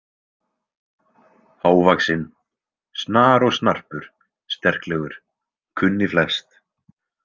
Hávaxinn, snar og snarpur sterklegur, kunni flest.